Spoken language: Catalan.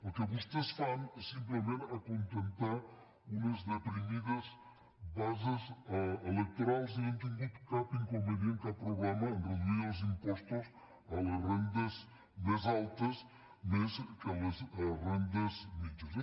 el que vostès fan és simplement acontentar unes deprimides bases electorals i no han tingut cap inconvenient cap problema a reduir els impostos a les rendes més altes més que a les rendes mitjanes